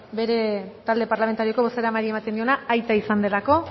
bere talde parlamentarioko bozeramaileari ematen diola aita izan delako